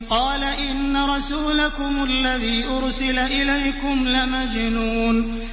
قَالَ إِنَّ رَسُولَكُمُ الَّذِي أُرْسِلَ إِلَيْكُمْ لَمَجْنُونٌ